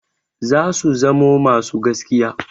Zasu zamo masu gaskiya.